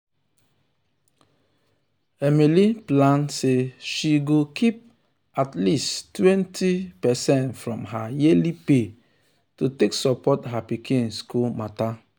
emily plan um say she go um keep at least 20 percent um from her yearly pay to take support her pikin school matter.